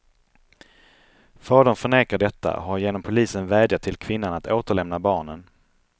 Fadern förnekar detta och har genom polisen vädjat till kvinnan att återlämna barnen.